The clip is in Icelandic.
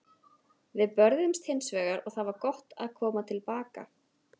Við börðumst hins vegar og það var gott að koma til baka.